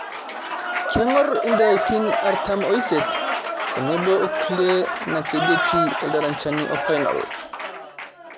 Keng'or indalaitin artam oisiet tenebo okulie nakedieki iltarajani ofainol